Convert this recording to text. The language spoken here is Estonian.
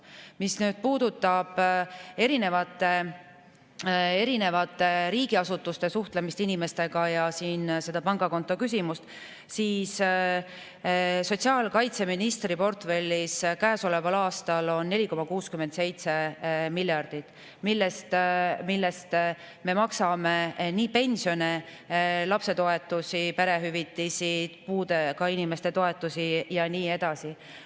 Mis puudutab erinevate riigiasutuste suhtlemist inimestega ja seda pangakontoküsimust, siis sotsiaalkaitseministri portfellis käesoleval aastal on 4,67 miljardit, millest me maksame pensione, lapsetoetusi, perehüvitisi, puudega inimeste toetusi ja nii edasi.